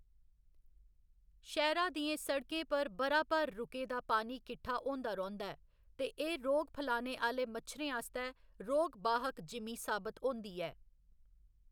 शैह्‌रा दियें सड़कें पर ब'रा भर रुके दा पानी किट्ठा होंदा रौंह्‌‌‌दा ऐ ते एह्‌‌ रोग फलाने आह्‌‌‌ले मच्छरें आस्तै रोग वाहक जिमीं साबत होंदी ऐ।